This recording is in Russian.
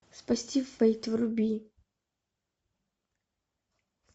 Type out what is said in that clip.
спасти фэйт вруби